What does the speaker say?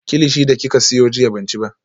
Kilichi da kika siyo jiya ban ci ba